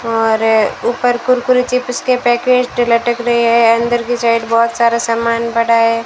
और ऊपर कुरकुरे चिप्स के पैकेट लटक रहे हैं अंदर की साइड बहोत सारा सामान बड़ा है।